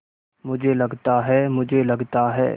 मुझे लगता है मुझे लगता है